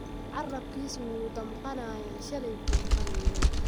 Carrabkiisu wuu damqanayaa, shalay buu qaniinay.